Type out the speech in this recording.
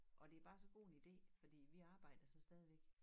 Og det bare så god en idé fordi vi arbejder så stadigvæk